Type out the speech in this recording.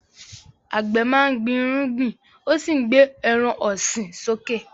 Àgbẹ̀ máa ń gbin irúgbìn ó sì ń gbé ẹran ọ̀sìn sókè.